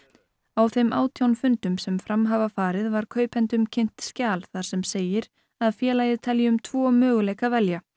á þeim átján fundum sem fram hafa farið var kaupendum kynnt skjal þar sem segir að félagið telji um tvo möguleika að velja